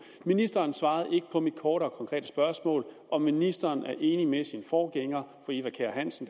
ministeren svarede ikke på mit korte og konkrete spørgsmål om ministeren er enig med sin forgænger fru eva kjer hansen